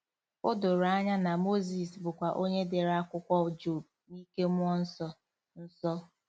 O doro anya na Mozis bụkwa onye dere akwụkwọ Job n'ike mmụọ nsọ. nsọ.